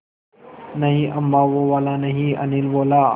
नहीं अम्मा वो वाला नहीं अनिल बोला